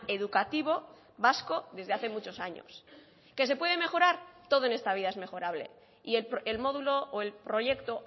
educativo vasco desde hace muchos años que se puede mejorar todo en esta vida es mejorable y el modulo o el proyecto